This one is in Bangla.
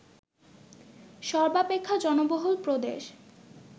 সর্বাপেক্ষা জনবহুল প্রদেশ